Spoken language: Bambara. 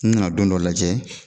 N nana don dɔ lajɛ